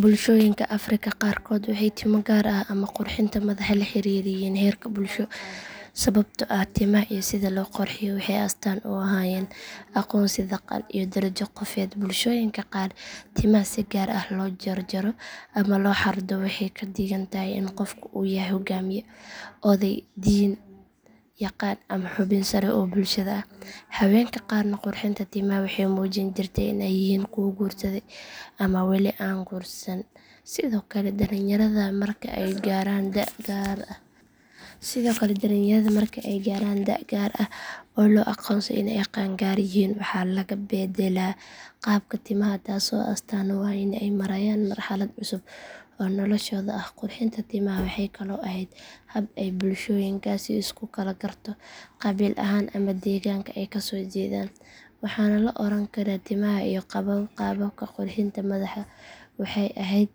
Bulshooyinka afrika qaarkood waxay timo gaar ah ama qurxinta madaxa la xiriiriyeen heerka bulsho sababtoo ah timaha iyo sida loo qurxiyo waxay astaan u ahaayeen aqoonsi dhaqan iyo darajo qofeed bulshooyinka qaar timaha si gaar ah loo jarjaro ama loo xardho waxay ka dhigan tahay in qofku yahay hogaamiye oday diin yaqaan ama xubin sare oo bulshada ah haweenka qaarna qurxinta timaha waxay muujin jirtay in ay yihiin kuwo guursaday ama wali aan la guursan sidoo kale dhalinyarada marka ay gaaraan da’ gaar ah oo loo aqoonsado in ay qaangaar yihiin waxaa laga beddelaa qaabka timaha taasoo astaan u ah in ay marayaan marxalad cusub oo noloshooda ah qurxinta timaha waxay kaloo ahayd hab ay bulshooyinkaasi isku kala garto qabiil ahaan ama deegaanka ay kasoo jeedaan waxaana la oran karaa timaha iyo qaababka qurxinta madaxa waxay ahayd